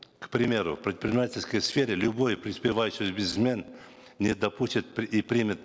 к примеру в предпринимательской сфере любой преуспевающий бизнесмен не допустит и примет